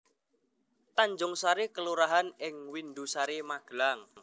Tanjungsari kelurahan ing Windusari Magelang